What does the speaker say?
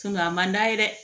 a man d'a ye dɛ